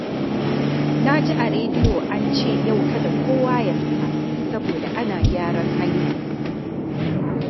Na ji a rediyo an ce yau kada kowa ya fita saboda ana gyaran hanya